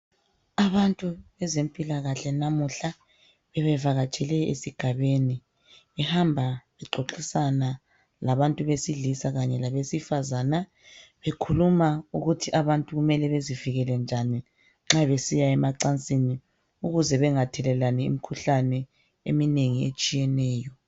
Abantu bezempilakahle namuhla. Bebevakatshele esigabeni. Behamba bexoxisana labantu besilisa kanye labesifazana bekhuluma ukuthi abantu kumele bezivikele njani nxa besiyemacansini ukuze bengathelelani imikhuhlane eminengi etshiyeneyo.